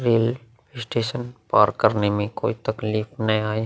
Rail station पार करने में कोई तकलीफ ना आये।